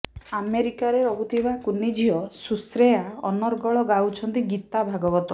ଆମେରିକାରେ ରହୁଥିବା କୁନି ଝିଅ ସୁଶ୍ରେୟା ଅନର୍ଗଳ ଗାଉଛନ୍ତି ଗୀତା ଭାଗବତ